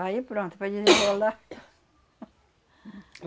Aí pronto, para desenrolar.